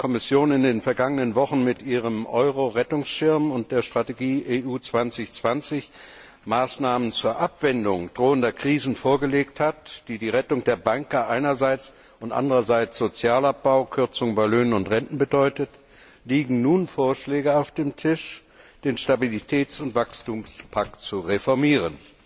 Nachdem die Kommission in den vergangenen Wochen mit ihrem Euro Rettungsschirm und der Strategie EU 2020 Maßnahmen zur Abwendung drohender Krisen vorgelegt hat, die die Rettung der Banken einerseits und andererseits Sozialabbau, Kürzung bei Löhnen und Renten bedeuten, liegen nun Vorschläge auf dem Tisch, den Stabilitäts und Wachstumspakt zu reformieren.